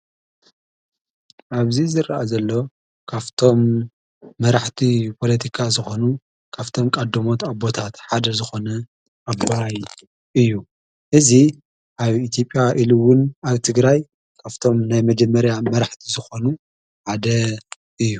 ኣብዙ ዝረአ ዘሎ ካፍቶም መራሕቲ ጶለቲካ ዝኾኑ ካፍቶም ቃዶሞት ኣቦታት ሓደ ዝኾነ ኣቦይ እዩ እዙ ኣብ ኢቲጴያ ኢሉውን ኣትግራይ ካፍቶም ናይ መጀመርያ መራሕቲ ዝኾኑ ዓደ እዩ።